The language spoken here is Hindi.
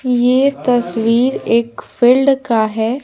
ये तस्वीर एक फील्ड का है।